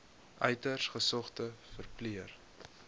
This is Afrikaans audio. uiters gesogde verpleër